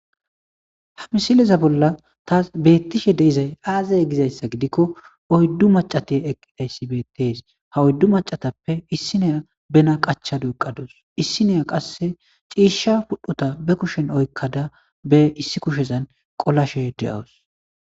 ha misileza bolla ta beettishe deizay aazaya gizayssa gidikko oyddu macate eqqidayssi bettes ha oyddu macatappe issineya bena qachadu eqqadus issineya qasse ciisha pudhota be kushen oykkada be issi kushezan qolashe de7awus